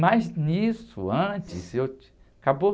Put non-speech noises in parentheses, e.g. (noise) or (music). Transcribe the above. Mas nisso, antes, eu. (unintelligible) Acabou?